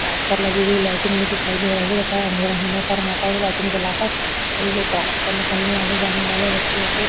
track पर लगी हुई लाइटिंग भी दिखाई दे रही है तथा अँधेरा होने पर वहाँ पर लाइटिंग जलाकर रेलवे ट्रैक पर निकलने आने-जाने वाले व्यक्तियों को --